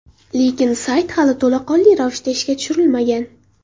Lekin sayt hali to‘laqonli ravishda ishga tushirilmagan.